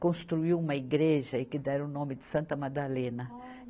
construiu uma igreja e que deram o nome de Santa Madalena.